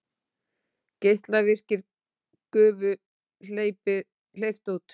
Geislavirkri gufu hleypt út